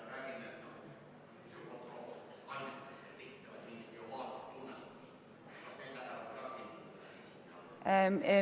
Äkki sa ...